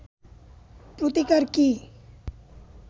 প্রতিকার কি